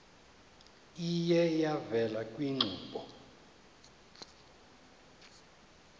iye yavela kwiinkqubo